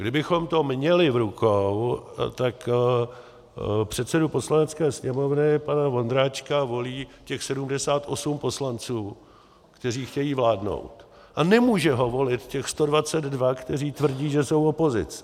Kdybychom to měli v rukou, tak předsedu Poslanecké sněmovny pana Vondráčka volí těch 78 poslanců, kteří chtějí vládnout, a nemůže ho volit těch 122, kteří tvrdí, že jsou opozicí.